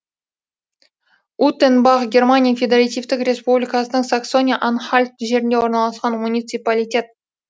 утенбах германия федеративтік республикасының саксония анхальт жерінде орналасқан муниципалитет